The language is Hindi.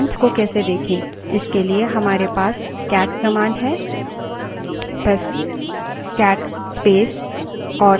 अब सभी फाइलों और फोल्डरों की जानकारी fileinfo named files में जायेगी